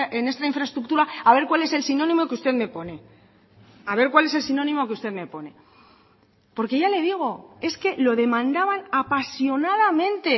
en esta infraestructura a ver cuál es el sinónimo que usted me pone a ver cuál es el sinónimo que usted me pone porque ya le digo es que lo demandaban apasionadamente